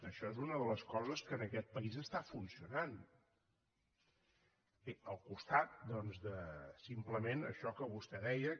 això és una de les coses que en aquest país està funcionant al costat doncs de simplement això que vostè deia